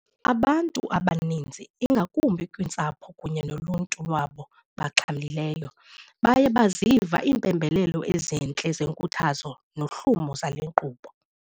Abantu abaninzi ingakumbi, kwiintsapho kunye noluntu lwabo baxhamlileyo, baye baziva impembelelo ezintle zenkuthazo nohlumo zale nkqubo.